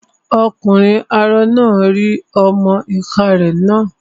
Ọkùnrin arọ náà rí ọmọ-ìká rẹ̀ nà